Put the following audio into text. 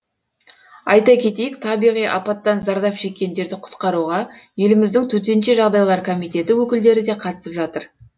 айта кетейік табиғи апаттан зардап шеккендерді құтқаруға еліміздің төтенше жағдайлар комитеті өкілдері де қатысып жатыр